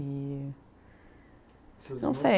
E... Seus irmãos? Não sei.